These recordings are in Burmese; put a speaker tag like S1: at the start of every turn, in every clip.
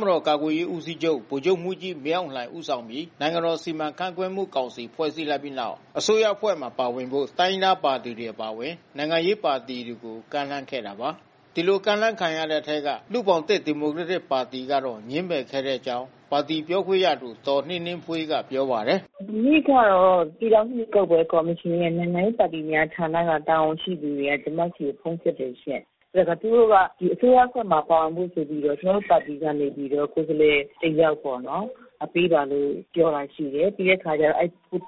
S1: မတော်ကာကွယ်ရေးဦးစီးချုပ် ဗိုလ်ချုပ်မှူးကြီး မင်းအောင်လှိုင် ဦးဆောင်ပြီး နိုင်ငံတော်စီမံခန့်ခွဲမှုကောင်စီ ဖွဲ့စည်းလိုက်ပြီးနောက် အစိုးရအဖွဲ့မှာ ပါဝင်ဖို့ တိုင်းရင်းသားပါတီတွေ အပါအဝင် နိုင်ငံရေးပါတီတွေကို ကမ်းလှမ်းခဲ့တာပါ။ ဒီလိုကမ်းလှမ်းခံခဲ့ရတဲ့ အထဲက လူ့ဘောင်သစ်ဒီမိုကရက်တစ်ပါတီကတော့ ငြင်းပယ်ခဲ့ကြောင်း ပါတီပြောခွင့်ရသူ ဒေါ်နှင်းနှင်းဖွေးက ပြောပါတယ်
S2: ။ “မနေ့ကတော့ ပြည်ထောင်စုရွေးကောက်ပွဲကော်မရှင်ရဲ့ နိုင်ငံရေးပါတီများဌာနက တာဝန်ရှိသူတွေက ကျမဆီကို ဖုန်းဆက်တယ်ရှင့်။ သူတို့က အစိုးရအဖွဲ့မှာပါဝင်ဖို့ဆိုပြီးတော့ ကျမတို့ ပါတီကနေပြီးတော့ ကိုယ်စားလှယ် တယောက်ပေါ့နော်.... ပေးပါလို့ ပြောတာရှိတယ်။ အဲဒီ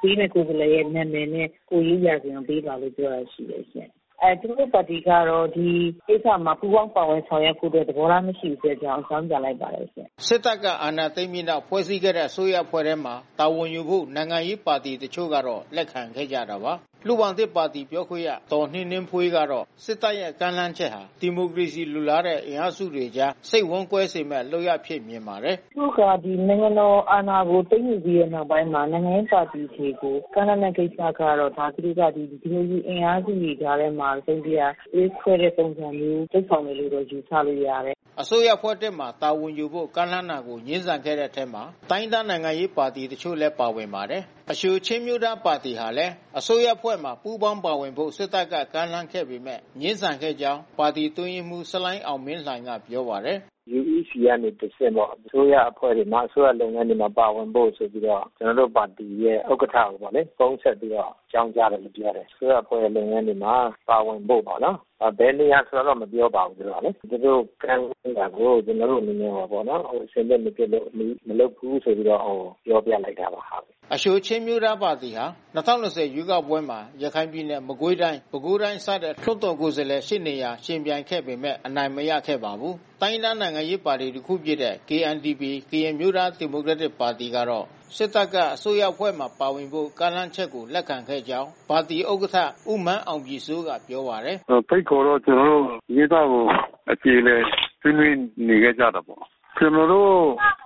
S2: ပေးတဲ့ ကိုယ်စားလှယ်နာမည်နဲ့ ကိုယ်ရေးရာဇဝင်ပေးပါလို့ ပြောတာရှိတယ်။ ကျမတို့ ပါတီကတော့ ဒီကိစ္စမှာ ပူးပါင်းပါဝင်ဆောင်ရွက်ဖို့တော့ သဘောထားမရှိဘူးလို့ အကြောင်းပြန်လိုက်ပါတယ်ရှင့်။
S1: ” စစ်တပ်က အာဏာသိမ်းပြီးနောက် ဖွဲ့စည်းခဲ့တဲ့ အစိုးရအဖွဲ့မှာ တာဝန်ယူဖို့ နိုင်ငံရေးပါတီတချို့ကတော့ လက်ခံခဲ့ကြတာပါ။ လူ့ဘောင်သစ်ပါတီ ပြောခွင့်ရ ဒေါ်နှင်းနှင်းဖွေးကတော့ စစ်တပ်ရဲ့ ကမ်းလှမ်းချက်ဟာ ဒီမိုကရေစီ လိုလားတဲ့ အင်အားစုတွေကြား စိတ်ဝမ်းကွဲစေမယ့် လုပ်ရပ်အဖြစ် မြင်ပါတယ်။
S2: “သူတို့က နိုင်ငံတော်အာဏာကိုသိမ်းယူပြီးတဲ့နောက်မှာ နိုင်ငံရေးပါတီတွေကို ကမ်းလှမ်းတဲ့ကိစ္စကတော့ သူတို့က ဒီမိုကရေစီအင်အားစုတွေကြားထဲမှာ တစုံတရာ သွေးခွဲတဲ့ပုံစံမျိုးလုပ်ဆောင်တယ်လို့ပဲ ယူဆလို့ရတယ်။
S1: ” အစိုးရအဖွဲ့သစ်မှာ တာဝန်ယူဖို့ ကမ်းလှမ်းချက်ကို ငြင်းဆန်ခဲ့တဲ့ အထဲမှာ တိုင်းရင်းသား နိုင်ငံရေးတချို့လည်း ပါဝင်ပါတယ်။ အရှိုချင်းအမျိုးသားပါတီဟာလည်း အစိုးရအဖွဲ့မှာ ပူးပေါင်း ပါဝင်ဖို့ စစ်တပ်က ကမ်းလှမ်းခဲ့ပေမဲ့ ငြင်းဆန်
S3: ခဲ့ကြောင်း ပါတီ အတွင်းရေးမှူး ဆလိ
S1: ုင်း အောင်မင်းလှိုင်ကပြောပါတယ်။
S3: “UEC ကနေ တဆင့်ပေါ့။ အစိုးရအဖွဲ့တွေမှာ အစိုးရလုပ်ငန်းတွေမှာ ပါဝင်ဖို့ဆိုပြီးတော့ ကျနော်တို့ပါတီရဲ့ ဥက္ကဋ္ဌ ကိုပေါ့လေ။ ဖုန်းဆက်ပြီးတော့ အကြောင်းကြားလာခဲ့တယ်။ အစိုးရအဖွဲ့ရဲ့လုပ်ငန်းတွေမှာ ပါဝင်ဖို့ပေါ့နော်။ ဘယ်နေရာဆိုတာတော့ မပြောပါဘူးခင်ဗျ။ သူတို့ကမ်းလှမ်းတာကို ကျနော်တို့အနေနဲ့ကတော့ အဆင်သင့်မဖြစ်သေးဘူး၊ မလုပ်ဘူးဆိုပြီးတော့ ပြောပြလိုက်ပါတယ်
S1: ။” အရှိုချင်းအမျိုးသားပါတီဟာ ၂၀၂၀ ရွေးကောက်ပွဲမှာ ရခိုင်ပြည်နယ်၊ မကွေးတိုင်း၊ ပဲခူးတိုင်းစတဲ့ လွှတ်တော် ကိုယ်စားလှယ် ရှစ်နေရာ ယှဉ်ပြိုင်ခဲ့ပေမဲ့ အနိုင်မရခဲ့ပါဘူး။ တိုင်းရင်းသား နိုင်ငံရေးပါတီတခုဖြစ်တဲ့ KNDP ကရင်အမျိုးသားဒီမိုကရက်တစ်ပါတီကတော့ စစ်တပ်က အစိုးရအဖွဲ့မှာ ပါဝင်ဖို့ ကမ်းလှမ်းချက်ကို လက်ခံခဲ့ကြောင်း ပါတီဥက္ကဋ္ဌ ဦးမန်းအောင်ပြည်စိုးကပြောပါတယ်
S2: ။ “ဖိတ်ခေါ်တ
S3: ော့ ကျနော်တို့ ဒီကိစ္စကို အကြေအလည်ဆွေးနွေးနေခဲ့ကြတာပေါ့။ ကျနော်တို့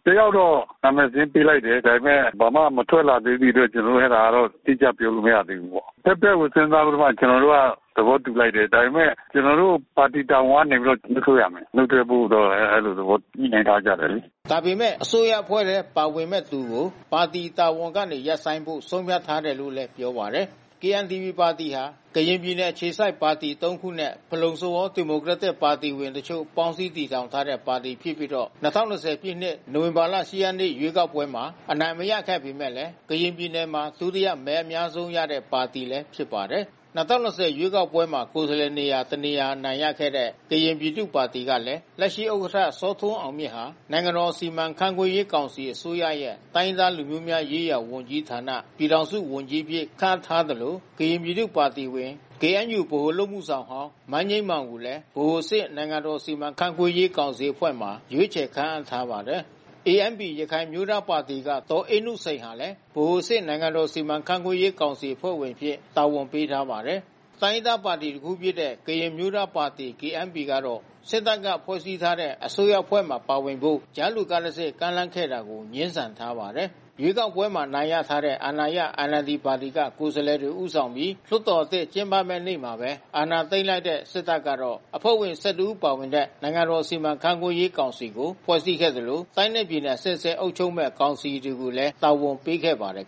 S3: တယောက်တော့ နာမည် စာရင်းပေးလိုက်တယ်။ ဒါပေမဲ့ ဘာမှမထွက်လာသေးတဲ့အတွက် ကျနော်တို့ အဲဒီတော့ အတိအကျ ပြောလို့ မရသေးဘူး။ အဘက်ဘက်ကို စဉ်းစားပြီးတော့မှ ကျနော်တို့က သဘောတူလိုက်တယ်။ ဒါပေမဲ့ ကျနော်တို့ ပါတီတာဝန်ကတော့နုတ်ထွက်ရမယ်။ နုတ်ထွက်ဖို့တော့ အဲဒီသဘောညှိနှိုင်းထားကြတာပေါ့လေ
S1: ။” ဒါပေမဲ့ အစိုးရအဖွဲ့ထဲပါဝင်မဲ့သူကို ပါတီတာဝန်ကနေ ရပ်ဆိုင်းဖို့ ဆုံးဖြတ်ထားတယ်လို့လည်း ပြောပါတယ်။ KNDP ပါတီဟာ ကရင်ပြည်နယ်အခြေစိုက်ပါတီ သုံးခုနဲ့ ဖလုံ-စဝေါ ဒီမိုကရက်တစ်ပါတီဝင်အချို့ ပေါင်းစည်းတည်ထောင်ထားတဲ့ ပါတီဖြစ်ပြီးတော့ ၂၀၂၀ ပြည့်နှစ် နိုဝင်ဘာလ ၈ ရက်နေ့က ရွေးကောက်ပွဲမှာ အနိုင်မရခဲ့ပေမဲ့ ကရင်ပြည်နယ်မှာ ဒုတိယ မဲအများဆုံးရတဲ့ပါတီလည်း ဖြစ်ပါတယ်။ ၂၀၂၀ ရွေးကောက်ပွဲမှာ ကိုယ်စားလှယ်နေရာ တနေရာ အနိုင်ရခဲ့တဲ့ ကရင်ပြည်သူ့ပါတီကလဲ လက်ရှိ ဥက္ကဋ္ဌ စောထွန်းအောင်မြင့်ဟာ နိုင်ငံတော်စီမံခန့်ခွဲရေး ကောင်စီ အစိုးရရဲ့ တိုင်းရင်းသားလူမျိုးများရေးရာဝန်ကြီးဌာန ပြည်ထောင်စု ဝန်ကြီးအဖြစ် ခန့်အပ်ထားသလို ကရင်ပြည်သူ့ပါတီဝင် ကေအဲန်ယူဗဟိုအလုပ်အမှုဆောင်ဟောင်း မန်းငြိမ်းမောင်ကိုလည်း ဗဟိုအဆင့် နိုင်ငံတော်စီမံခန့်ခွဲရေး ကောင်စီအဖွဲ့တွင် ရွေးချယ်ခန့်အပ်ထားပါတယ်။ ANP ရခိုင်အမျိုးသားပါတီက ဒေါ်အေးနုစိန်ဟာလည်း ဗဟိုအဆင့် နိုင်ငံတော်စီမံခန့်ခွဲရေး ကောင်စီ အဖွဲ့ဝင်အဖြစ် တာဝန်ပေးထားပါတယ်။ တိုင်းရင်းသားပါတီတခုဖြစ်တဲ့ ကရင်အမျိုးသားပါတီ KNP ကတော့ စစ်တပ်ကဖွဲ့စည်းထားတဲ့ အစိုးရအဖွဲ့မှာပါဝင်ဖို့ ကြားလူက တဆင့် ကမ်းလှမ်းခဲ့တာကို ငြင်းဆန်ထားပါတယ်။ ရွေးကောက်ပွဲမှာ အနိုင်ရထားတဲ့ အာဏာရ NLD ပါတီက ကိုယ်စားလှယ်တွေ ဦးဆောင်ပြီး လွှတ်တော်သစ် ကျင်းပမယ့် နေ့မှာပဲ အာဏာသိမ်းလိုက်တဲ့ စစ်တပ်ကတော့ အဖွဲ့ဝင် ၁၁ ဦးပါဝင်တဲ့ နိုင်ငံတော် စီမံခန့်ခွဲရေး ကောင်စီကို ဖဲ့ွစည်းခဲ့သလို၊ တိုင်းနဲ့ပြည်နယ် အဆင့်ဆင့် အုပ်ချုပ်မယ့် ကောင်စီတွေကိုလည်း တာဝန်ပေးခဲ့ပါတယ်